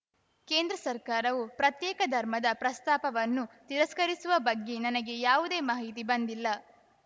ಕೇಂದ್ರ ಸರ್ಕಾರವು ಪ್ರತ್ಯೇಕ ಧರ್ಮದ ಪ್ರಸ್ತಾಪವನ್ನು ತಿರಸ್ಕರಿಸಿರುವ ಬಗ್ಗೆ ನನಗೆ ಯಾವುದೇ ಮಾಹಿತಿ ಬಂದಿಲ್ಲ